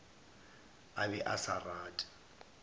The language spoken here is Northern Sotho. a be a sa rate